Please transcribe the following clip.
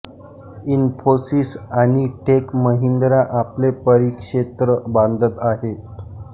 इन्फोसिस आणि टेक महिंद्रा आपले परिक्षेत्र बांधत आहेत